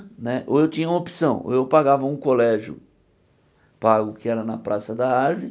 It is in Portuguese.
Ou eu tinha uma opção, eu pagava um colégio pago, que era na Praça da Árvore,